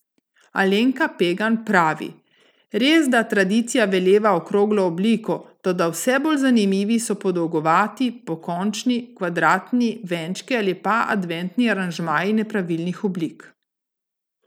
Alenka Pegan pravi: 'Resda tradicija veleva okroglo obliko, toda vse bolj zanimivi so podolgovati, pokončni, kvadratni venčki ali pa adventni aranžmaji nepravilnih oblik.